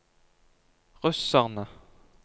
russerne